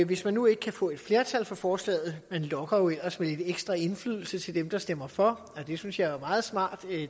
hvis man nu ikke kan få et flertal for forslaget man lokker jo ellers med lidt ekstra indflydelse til dem der stemmer for og det synes jeg er et meget smart